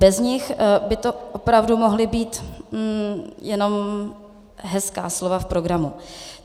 Bez nich by to opravdu mohla být jenom hezká slova v programu.